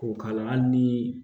K'o k'a la hali nii